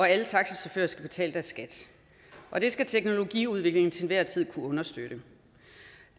alle taxichauffører skal betale skat og det skal teknologiudviklingen til enhver tid kunne understøtte